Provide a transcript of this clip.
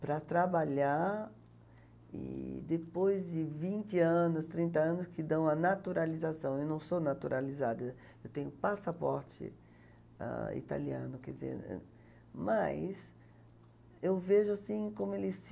para trabalhar e depois de vinte anos, trinta anos, que dão a naturalização, eu não sou naturalizada, eu tenho passaporte, ãh, italiano, quer dizer, mas eu vejo assim como eles se...